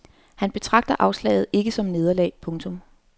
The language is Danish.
Han betragter afslaget ikke som nederlag. punktum